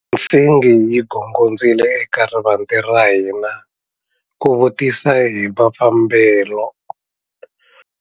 Nsingi yi gongondzile eka rivanti ra hina ku vutisa hi mafambelo.